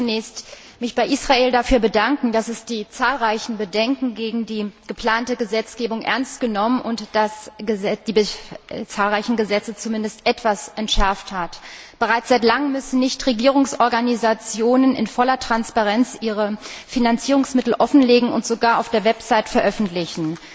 Ich möchte mich zunächst bei Israel dafür bedanken, dass es die zahlreichen Bedenken gegen die geplante Gesetzgebung ernst genommen und die Gesetze zumindest etwas entschärft hat. Bereits seit langem müssen Nichtregierungsorganisationen in voller Transparenz ihre Finanzierungsmittel offenlegen und sogar auf ihrer Website veröffentlichen.